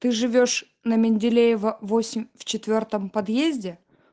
ты живёшь на менделеева восемь в четвёртом подъезде